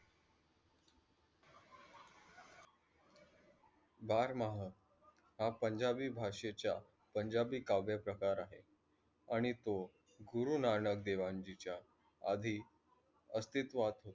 बर माहो, हा पंजाबी भाषेचा पंजाबी काव्य प्रकार आहे आणि तो गुरु नानक देवा जी च्य आधी अस्तितवात